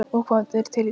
Og hvað er til í því?